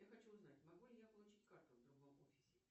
я хочу узнать могу ли я получить карту в другом офисе